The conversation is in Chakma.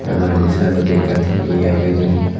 aro indi saaidodi ekkan he agey hijeni.